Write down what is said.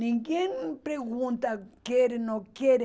Ninguém pergunta quer, não quer.